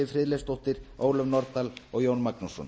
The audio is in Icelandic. friðleifsdóttir ólöf nordal og jón magnússon